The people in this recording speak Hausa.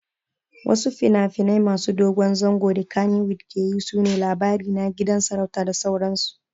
Wasu finafinai masu dogon zango da kannywood keyi sune Labarina, Gidan sarauta da sauransu